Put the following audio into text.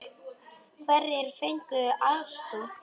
Hverjir fengu aðstoð?